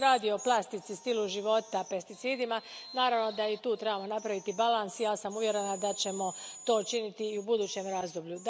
Kad se radi o plastici, stilu života, pesticidima, naravno da i tu trebamo napraviti balans i ja sam uvjerena da ćemo to činiti i u budućem razdoblju.